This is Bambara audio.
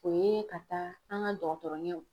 O ye ka taa an ka dɔgɔtɔrɔ ɲɛw.